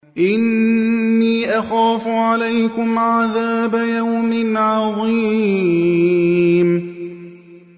إِنِّي أَخَافُ عَلَيْكُمْ عَذَابَ يَوْمٍ عَظِيمٍ